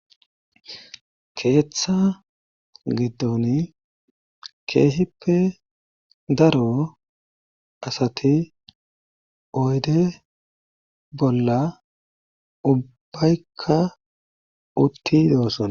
keeththa giddon keehippe daro asati oyde bolla ubbaykka utti dooson